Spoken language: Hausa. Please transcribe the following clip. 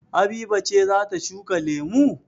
Habiba ce za ta shuka lemu?